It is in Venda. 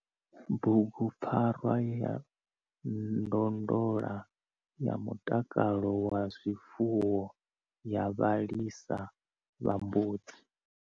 Bugu PFARWA YA NDONDOLA YA MUTAKALO WA ZWIFUWO YA VHALISA VHA MBUDZI.